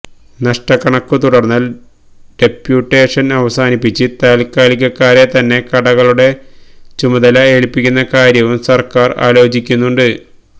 നഷ്ടക്കണക്കു തുടര്ന്നാല് ഡപ്യൂട്ടേഷന് അവസാനിപ്പിച്ച് താല്ക്കാലികക്കാരെ തന്നെ കടകളുടെ ചുമതല ഏല്പിക്കുന്ന കാര്യവും സര്ക്കാര് ആലോചിക്കുന്നുണ്ട്